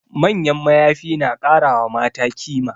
Manyan mayafi na kara wa mata kima